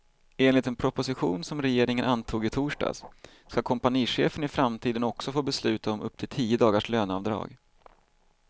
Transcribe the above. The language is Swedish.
Enligt en proposition, som regeringen antog i torsdags, ska kompanichefen i framtiden också få besluta om upp till tio dagars löneavdrag.